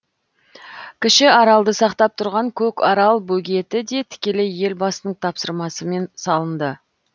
кіші аралды сақтап тұрған көкарал бөгеті де тікелей елбасының тапсырмасымен салынды